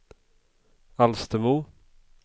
Alstermo